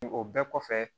O bɛɛ kɔfɛ